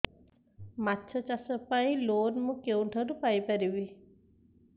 ମାଛ ଚାଷ ପାଇଁ ଲୋନ୍ ମୁଁ କେଉଁଠାରୁ ପାଇପାରିବି